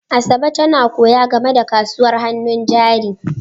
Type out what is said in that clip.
Asabe tana koya game da kasuwar hannun jari.